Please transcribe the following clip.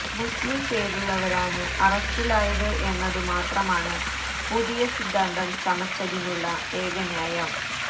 മുസ്ലിം പേരുള്ളവരാണ് അറസ്റ്റിലായത് എന്നതു മാത്രമാണ് പുതിയ സിദ്ധാന്തം ചമച്ചതിനുള്ള ഏകന്യായം